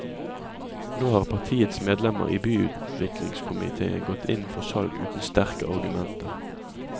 Nå har partiets medlemmer i byutviklingskomitéen gått inn for salg uten sterke argumenter.